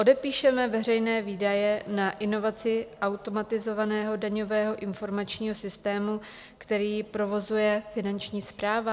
Odepíšeme veřejné výdaje na inovaci automatizovaného daňového informačního systému, který provozuje Finanční správa?